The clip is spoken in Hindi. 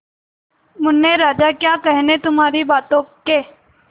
मुन्ने राजा क्या कहने तुम्हारी बातों के